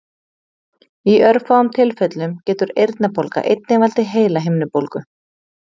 Í örfáum tilfellum getur eyrnabólga einnig valdið heilahimnubólgu.